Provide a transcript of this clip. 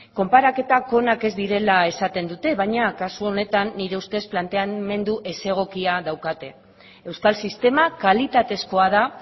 konparaketak onak ez direla esaten dute baina kasu honetan nire ustez planteamendu ez egokia daukate euskal sistema kalitatezkoa da